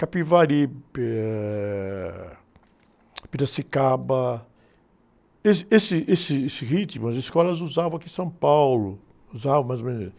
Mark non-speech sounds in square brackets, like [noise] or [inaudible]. [unintelligible] ãh, Piracicaba, esse, esse, esse, esse ritmo as escolas usavam aqui em São Paulo, usavam mais ou menos isso.